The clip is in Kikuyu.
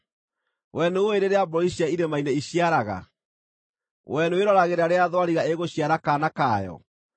“Wee nĩũũĩ rĩrĩa mbũri cia irĩma-inĩ iciaraga? Wee nĩwĩroragĩra rĩrĩa thwariga ĩgũciara kaana kayo?